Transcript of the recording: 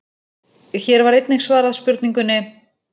Hér var einnig svarað spurningunni: